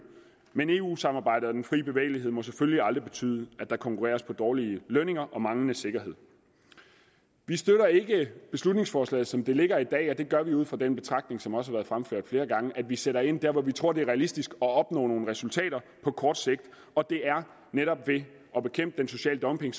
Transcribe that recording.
men eu samarbejdet og den frie bevægelighed må selvfølgelig aldrig betyde at der konkurreres på dårlige lønninger og manglende sikkerhed vi støtter ikke beslutningsforslaget som det ligger i dag og det gør vi ikke ud fra den betragtning som også har været fremført flere gange at vi sætter ind dér hvor vi tror det er realistisk at opnå nogle resultater på kort sigt og det er netop ved at bekæmpe den sociale dumping